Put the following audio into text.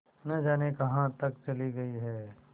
न जाने कहाँ तक चली गई हैं